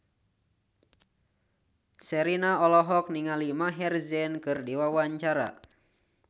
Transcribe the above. Sherina olohok ningali Maher Zein keur diwawancara